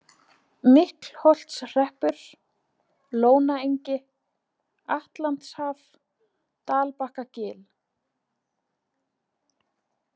Miklholtshreppur, Lónaengi, Atlantshaf, Dalbakkagil